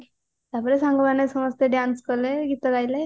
ତାପରେ ସାଙ୍ଗମାନେ ସମସ୍ତେ dance କଲେ ଗୀତ ଗାଇଲେ